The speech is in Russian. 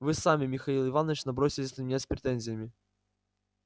вы сами михаил иванович набросились на меня с претензиями